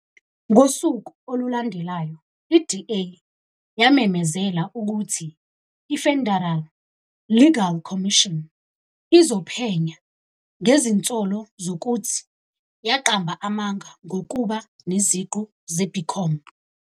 Ngosuku olulandelayo, i-DA yamemezela ukuthi i-Federal Legal Commission izophenya ngezinsolo zokuthi yaqamba amanga ngokuba neziqu ze-BCom.